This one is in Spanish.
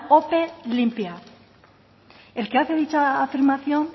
ope limpia el que hace dicha afirmación